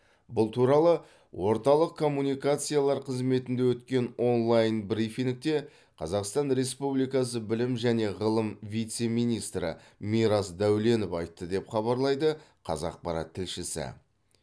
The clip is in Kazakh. бұл туралы орталық коммуникациялар қызметінде өткен онлайн брифингте қазақстан республикасы білім және ғылым вице министрі мирас дәуленов айтты деп хабарлайды қазақпарат тілшісі